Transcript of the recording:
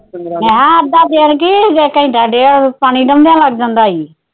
ਮੈ ਕਿਹਾ ਅੱਧਾ ਦਿਨ ਕੀ ਜੇ ਘੰਟਾ ਡੇੜ੍ਹ ਪਾਣੀ ਡਾਓਡੀਆ ਨੂੰ ਲੱਗ ਜਾਂਦਾ ਈ ।